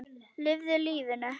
Lifðu lífinu.